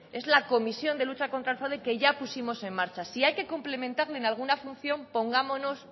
es la comisión de lucha contra el fraude que ya pusimos en marcha si hay que cumplimentarlo en alguna función pongámonos